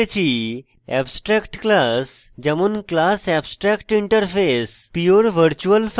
in tutorial শিখেছি abstract class যেমন class abstractinterface